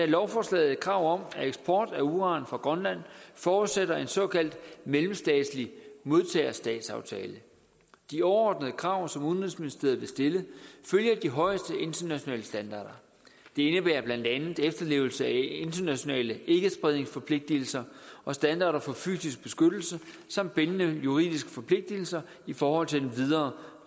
lovforslaget et krav om at eksport af uran fra grønland forudsætter en såkaldt mellemstatslig modtagerstatsaftale de overordnede krav som udenrigsministeriet vil stille følger de højeste internationale standarder det indebærer blandt andet efterlevelse af internationale ikkespredningsforpligtelser og standarder for fysisk beskyttelse som bindende juridiske forpligtelser i forhold til den videre